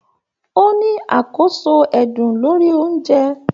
O ní àkóso ẹdun lórí ounjẹ.